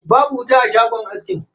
Babu wuta a shagon askin.